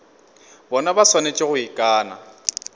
bona ba swanetše go ikana